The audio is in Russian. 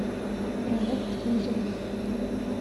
проект лузеры